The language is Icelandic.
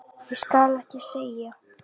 Ég skal ekki segja.